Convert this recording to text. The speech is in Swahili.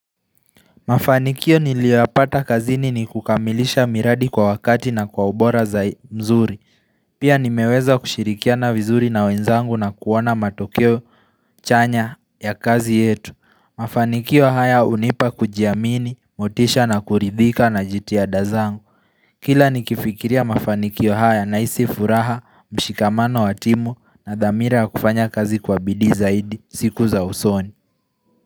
Mafanikio niliyoyapata kazini ni kukamilisha miradi kwa wakati na kwa ubora za mzuri Pia nimeweza kushirikia na vizuri na wenzangu na kuoana matokeo chanya ya kazi yetu Mafanikio haya unipa kujiamini, motisha na kuridhika na jitihada zangu Kila nikifikiria mafanikio haya na hisi furaha, mshikamano wa timu na dhamira kufanya kazi kwa bidi zaidi, siku za usoni.